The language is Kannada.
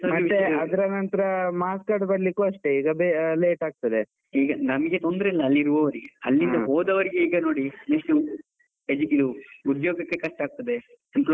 ಮತ್ತೆ ಅದ್ರ ನಂತ್ರ marks card ಬರ್ಲಿಕ್ಕೂ ಅಷ್ಟೆ ಈಗ late ಆಗ್ತಾದೆ, ಈಗ ನಮ್ಗೆ ತೊಂದ್ರೆ ಇಲ್ಲ ಅಲ್ಲಿ ಇರುವವ್ರಿಗೆ ಹೋದವರಿಗೆ ಈಗ ನೋಡಿ ಎಷ್ಟು ಉದ್ಯೋಗಕ್ಕೆ ಕಷ್ಟ ಆಗ್ತಾದೆ.